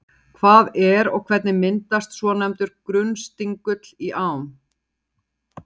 Hvað er og hvernig myndast svonefndur grunnstingull í ám?